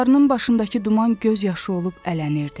Dağlarının başındakı duman göz yaşı olub ələnirdi.